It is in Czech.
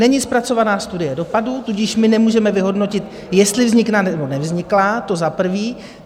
Není zpracovaná studie dopadů, tudíž my nemůžeme vyhodnotit, jestli vznikla nebo nevznikla, to za prvé.